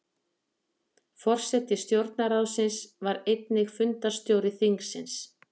Forseti stjórnarráðsins var einnig fundarstjóri þingsins.